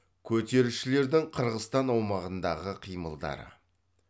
көтерілісшілердің қырғызстан аумағындағы қимылдары